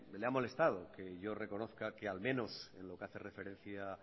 le ha molestado que yo reconozca que al menos en lo que hace referencia